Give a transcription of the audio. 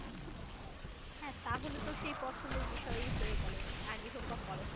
হ্যাঁ তাহলে তো সেই পছন্দের বিষয়ই হয়ে গেল আগে হোক বা পরে হোক।